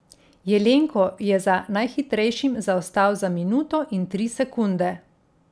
Jelenko je za najhitrejšim zaostal za minuto in tri sekunde.